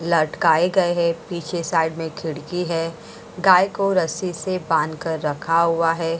लटकाए गए हैं पीछे साइड में खिड़की है गाय को रस्सी से बांध कर रखा हुआ है।